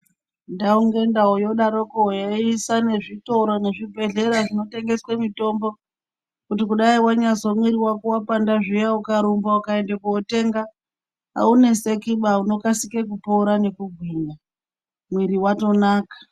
Ndau ngendau yodaroko yeiisa zvitoro nezvibhedhlera zvinotengeswe mitombo. Kuti kudai vanyazwa mwiri vako vapanda zviya ukarumba ukaende kotenga. Haunesekiba unokasike kupora nekugwinya mwiri vatonaka.